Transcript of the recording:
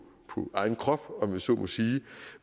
egen krop om jeg så må sige